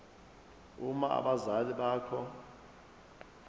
uma abazali bakho